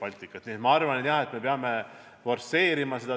Nii et jah, ma arvan, et me peame tempot forsseerima.